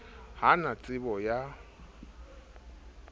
ha a na tsebo ya